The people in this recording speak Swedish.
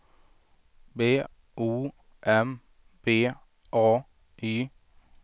B O M B A Y